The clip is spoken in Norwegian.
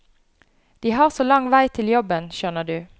De har så lang vei til jobben, skjønner du.